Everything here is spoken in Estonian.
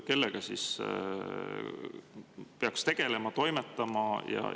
Kellega siis peaks tegelema, toimetama?